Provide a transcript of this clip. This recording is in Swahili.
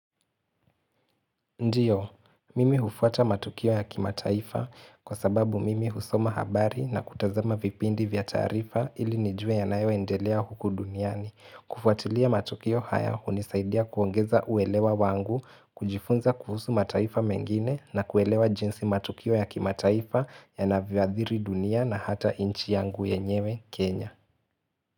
Ndio, mimi hufuata matukio ya kimataifa kwa sababu mimi husoma habari na kutazama vipindi vya taarifa ili nijue yanayo endelea huku duniani. Kufuatilia matukio haya hunisaidia kuongeza uelewa wangu, kujifunza kuhusu mataifa mengine na kuelewa jinsi matukio ya kimataifa yanavyoathiri dunia na hata nchi yangu yenyewe Kenya.